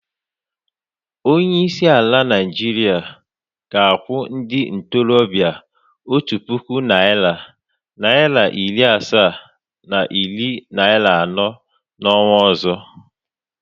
Onyeisi ala Naịjirịa ga-akwụ ndị ntorobịa otu puku naịra, naịra iri asaa na iri naịra anọ n’ọnwa ọzọ.